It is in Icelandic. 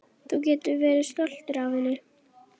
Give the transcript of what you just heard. Þú getur verið stoltur af henni.